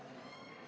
Kalle Laanet, palun!